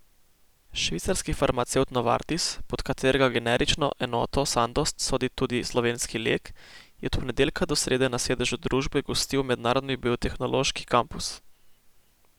Švicarski farmacevt Novartis, pod katerega generično enoto Sandoz sodi tudi slovenski Lek, je od ponedeljka do srede na sedežu družbe gostil mednarodni biotehnološki kampus.